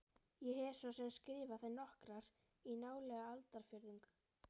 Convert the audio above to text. Ég hef svo sem skrifað þær nokkrar í nálega aldarfjórðung.